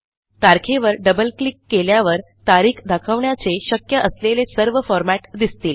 तारखेवर double click केल्यावर तारीख दाखवण्याचे शक्य असलेले सर्व फॉरमॅट दिसतील